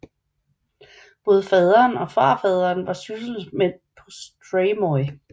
Både faderen og farfaderen var sysselmænd på Streymoy